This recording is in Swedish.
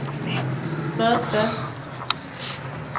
möte